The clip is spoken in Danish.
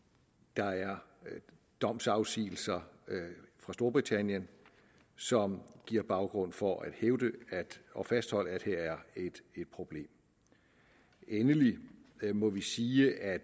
der er domsafsigelser fra storbritannien som giver baggrund for at hævde og fastholde at her er et problem endelig må vi sige at